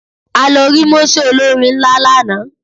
A lo rí mósè olórin nlà lánàá